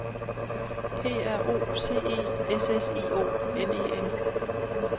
P R O C E S S I O N E N